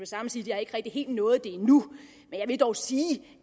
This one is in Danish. samme sige at jeg ikke helt har nået det endnu men jeg vil dog sige